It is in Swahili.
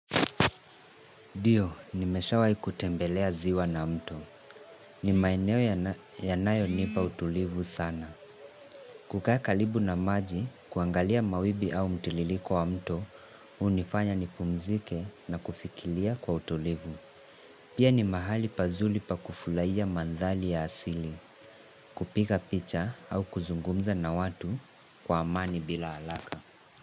Ndio, nimeshawai kutembelea ziwa na mto. Ni maeneo yanayonipa utulivu sana. Kukaa karibu na maji, kuangalia mawibi au mtiririko wa mto, unifanya nipumzike na kufikiria kwa utulivu. Pia ni mahali pazuri pa kufurahia mandhari ya asili, kupiga picha au kuzungumza na watu kwa amani bila haraka.